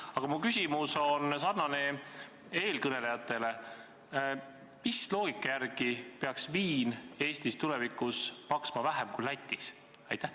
Aga mu küsimus sarnaneb eelkõnelejate omaga: mis loogika järgi peaks viin Eestis tulevikus maksma vähem kui Lätis?